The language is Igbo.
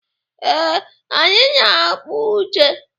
Ee, anyị na-akpa ute.